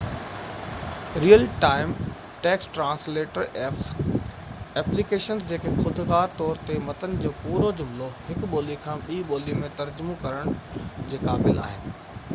real time text translator apps – applications جيڪي خودڪار طور تي متن جو پورو جملو هڪ ٻولي کان ٻي ٻولي ۾ ترجمو ڪرڻ جي قابل آهن